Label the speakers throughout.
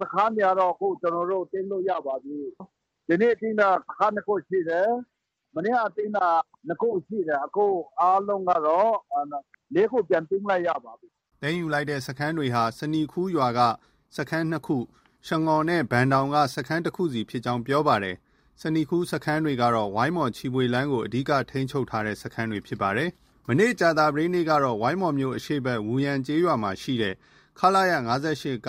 Speaker 1: စခန်းတွေကတော့ ကျနော်တို့ သိမ်းလို့ ရပါပြီ။ ဒီနေ့ သိမ်းတာ စခန်း ၂ ခုရှိတယ်။ မနေ့က သိမ်းတာ ၂ ခုရှိတယ်။ အခု အားလုံးကတော့ ၄ ခု ပြန် သိမ်းလိုက်ရပါပြီ။
Speaker 2: ” သိမ်းယူလိုက်တဲ့စခန်းတွေဟာ ဆနီခူးရွာက စခန်း ၂ ခု၊ ရှငေါ်နဲ့ ဘန်ဒေါင်က စခန်းတခုစီဖြစ်ကြောင်း ပြောပါတယ်။ ဆနီခူးစခန်းတွေကတော့ ဝိုင်းမော်-ချီဖွေလမ်းကို အဓိက ထိန်းချုပ်ထားတဲ့ စခန်းတွေဖြစ်ပါတယ်။ မနေ့ ကြာသပတေးနေ့ ကတော့ ဝိုင်းမော်မြို့ အရှေ့ဘက် ဝူယန်ကျေးရွာရှိ ခလရ (၅၈)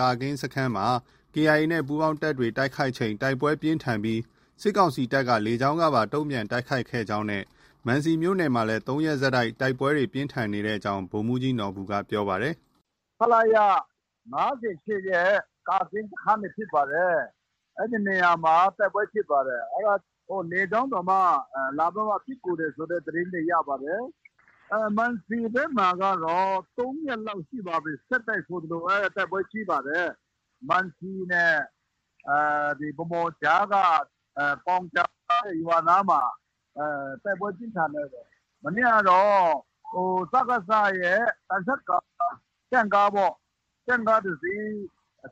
Speaker 2: ကာကင်းစခန်းမှာ KIA နဲ့ ပူးပေါင်းတပ်တွေက တိုက်ခိုက်ချိန် တိုက်ပွဲပြင်းထန်ပြီး စစ်ကောင်စီတပ်က လေကြောင်းကပါ တုံပြန်တိုက်ခိုက်ခဲ့ကြောင်းနဲ့ မံစီမြို့နယ်မှာလည်း (၃) ရက်ဆက် တိုက်ပွဲတွေ ပြင်းထန်နေကြောင်း ဗိုလ်မှူးကြီးနော်ဘူက ပြောပါတယ်။
Speaker 1: “ ခလရ ၅၈ ရဲ့ ကာကင်းစခန်းတွေဖြစ်ပါတယ်။ အဲဒီနေရာမှာ တိုက်ပွဲဖြစ်ပါတယ်။ အဲဒါ လေကြောင်းတောင်မှ လာပြီးတော့မှ ပစ်ကူတယ်ဆိုတဲ့ သတင်းတွေ ရပါတယ်။ မံစီဘက်မှာကတော့ ၃ ရက်လောက်ရှိပါပြီ ဆက်တိုက်ဆိုသလို တိုက်ပွဲကြီးပါတယ်။ မံစီနဲ့ ဗန်းမော်ကြားက ကောင်ဂျာဆိုတဲ့ ရွာနားမှာ တိုက်ပွဲပြင်းထန် နေတယ်။ မနေ့ကတော့ စကစရဲ့ သံချပ်ကာ၊ တင့်ကားပေါ့။ တင့်ကားတစီး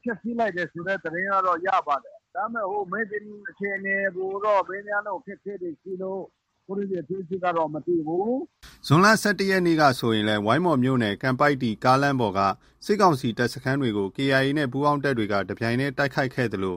Speaker 1: ဖျက်ဆီးလိုက်တယ်ဆိုတဲ့ သတင်းကတော့ ရပါတယ်။ ဒါပေမဲ့ မြေပြင်အခြေအနေကိုတော့ မေးမြန်းဖို့ အခက်အခဲတွေရှိလို့ လောလောဆည် အသေးစိတ်ကတော့ မသိဘူး။
Speaker 2: ” ဇွန်လ ၁၁ ရက်နေ့က ဆိုရင်လည်း ဝိုင်းမော်မြို့နယ် ကန်ပိုက်တီကားလမ်းပေါ်က စစ်ကောင်စီတပ်စခန်းတွေကို KIA နဲ့ ပူးပေါင်းတပ်တွေက တပြိုင်တည်း တိုက်ခိုက်ခဲ့သလို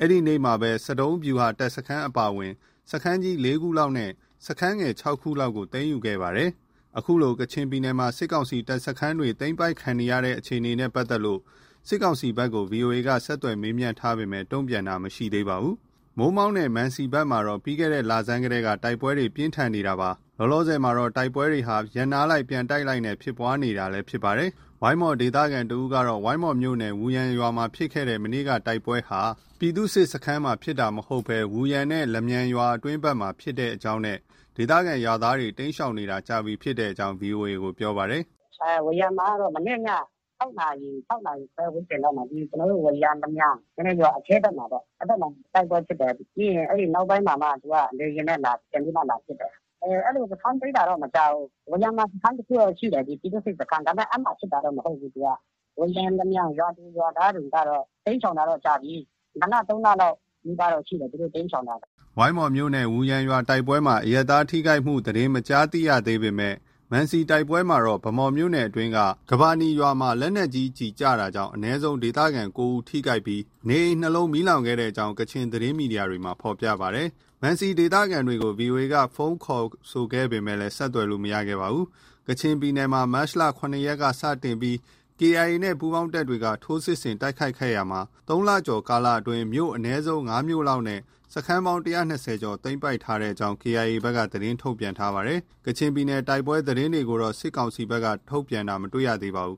Speaker 2: အဲဒီနေ့မှာပဲ ဆဒုံးဗျူဟာတပ်စခန်းအပါအဝင် စခန်းကြီး ၄ ခုလောက်နဲ့ စခန်းငယ် ၆ ခုလောက်ကို သိမ်းယူခဲ့ပါတယ်။ အခုလို ကချင်ပြည်နယ်မှာ စစ်ကောင်စီတပ်စခန်းတွေ သိမ်းပိုက်ခံနေရတဲ့အခြေအနေနဲ့ ပတ်သက်လို့ စစ်ကောင်စီဘက်ကို ဗွီအိုအေက ဆက်သွယ်မေးမြန်းထားပေမဲ့ တုံ့ပြန်ခြင်းမရှိသေးပါဘူး။ မိုးမောက်နဲ့ မံစီဘက်မှာတော့ ပြီးခဲ့တဲ့လဆန်းကတည်းက တိုက်ပွဲတွေ ပြင်းထန်ခဲ့တာပါ။ လောလောဆည်မှာတော့ တိုက်ပွဲတွေဟာ ရပ်နားလိုက်ပြန်တိုက်လိုက်နဲ့ ဖြစ်ပွားနေတာလည်း ဖြစ်ပါတယ်။ ဝိုင်းမော်ဒေသခံတဦးကတော့ ဝိုင်းမော်မြို့နယ် ဝူယန်ရွာမှာဖြစ်တဲ့ မနေ့က တိုက်ပွဲဟာ ပြည်သူ့စစ်စခန်းမှာ ဖြစ်တာမဟုတ်ဘဲ ဝူယန်နဲ့ လမြန်ရွာအတွင်းဘက်မှာဖြစ်ပွားကြောင်းနဲ့ ဒေသခံရွာသားတွေကတော့ တိမ်းရှောင်နေတာကြာပြီဖြစ်ကြောင်း ဗွီအိုအေကို ပြောပါတယ်။ “ ဝူ
Speaker 1: ယန်မှာကတော့ မနေ့ည ၆နာရီ။ ၆နာရီခွဲဝန်းကျင်မှာ ဝူယန် - လမြန်ရွာအတွင်းဘက်မှာပေါ့ အဲဒီဘက်မှာ တိုက်ပွဲဖြစ်တယ်။ ပြီးရင် နောက်ပိုင်းမှာမှ သူက လေယာဉ်နဲ့ ပြန်ပြီးမှ လာပစ်တယ်။ စခန်းသိမ်းတာတော့ မကြားဘူး။ ဝူယန်မှာ စခန်းတခုတော့ ရှိတယ်။ ပြည်သူ့စစ်စခန်း ဒါပေမဲ့ အဲဒီမှာ ဖြစ်တာတော့ မဟုတ်ဘူး။ ဝူယန် - လမြန်ရွာသူရွာသားတွေကတော့ တိမ်းရှောင်တာတော့ ကြာပြီ။ နှစ်လ၊ သုံးလလောက်နီးပါးရှိတယ် သူတို့တိမ်းရှောင်တာ။
Speaker 2: ” ဝိုင်းမော်မြို့နယ် ဝူယန်ရွာ တိုက်ပွဲမှာ အရပ်သား ထိခိုက်မှုသတင်းမကြားသိရပေမဲ့ မံစီတိုက်ပွဲမှာတော့ ဗန်းမော်မြို့နယ်အတွင်းက ကမ္ဘနီရွာမှာ လက်နက်ကြီးကျည်ကျတာကြောင့် အနည်းဆုံး ဒေသခံ ၉ ဦး ထိခိုက်ပြီး နေအိမ်၂လုံး မီးလောင်ခဲ့ကြောင်း ကချင်သတင်းမီဒီယာတွေမှာ ဖော်ပြပါတယ်။ မံစီဒေသခံတွေကို ဗွီအိုအေက ဖုန်းခေါ်ဆိုခဲ့ပေမဲ့ ဆက်သွယ်လို့ မရခဲ့ပါဘူး။ ကချင်ပြည်နယ်မှာ မတ်လ ၇ရက်နေ့က စတင်ပြီး KIA နဲ့ ပူးပေါင်းတပ်တွေက ထိုးစစ်ဆင်တိုက်ခိုက်ခဲ့ရာမှာ ၃ လကျော်ကာလအတွင်း မြို့အနည်းဆုံး ၅ မြို့လောက်နဲ့ စခန်းပေါင်း ၁၂၀ကျော်သိမ်းပိုက်ထားကြောင်း KIA ဘက်က သတင်းထုတ်ပြန်ထားပါတယ်။ ကချင်ပြည်နယ်တွင်း တိုက်ပွဲသတင်းတွေကိုတော့ စစ်ကောင်စီဘက်က ထုတ်ပြန်တာ မတွေ့ရပါဘူး